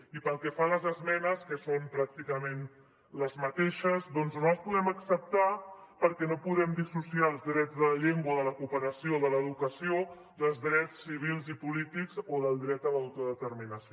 i pel que fa a les esmenes que són pràcticament les mateixes doncs no les podem acceptar perquè no podem dissociar els drets de la llengua de la cooperació o de l’educació dels drets civils i polítics o del dret a l’autodeterminació